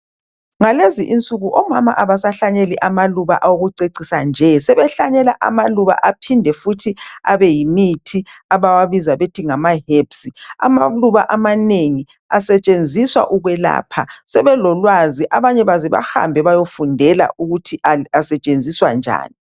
Ngalezi insuku omama abasahlanyeli amaluba wokucecisa nje sebehlanyela amaluba aphinde futhi Abe yimithi abawabiza bethi ngama herbs amaluba amanengi asentshenziswa ukwelapha sebelo lwazi abanye baze bahambe bayefundela ukuthi asentshenziswa njani